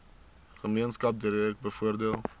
gemeenskap direk bevoordeel